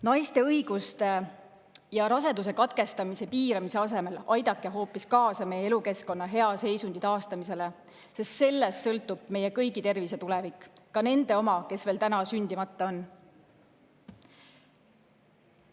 Naiste õiguste ja raseduse katkestamise piiramise asemel aidake hoopis kaasa meie elukeskkonna hea seisundi taastamisele, sest sellest sõltub meie kõigi tervis ja tulevik, ka nende oma, kes veel täna sündimata on.